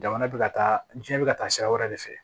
Jamana bɛ ka taa diɲɛ bɛ ka taa sira wɛrɛ de fɛ